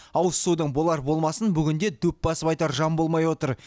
ауыз судың болар болмасын бүгінде дөп басып айтар жан болмай отыр